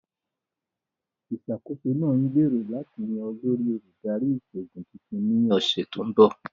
Ìṣàkóso náà ń gbèrò láti yan olórí Olùdarí Ìṣòògùn tuntun ni ọsẹ̀ tó ń bọ̀